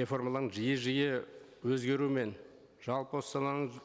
реформаларының жиі жиі өзгеруімен жалпы осы саланың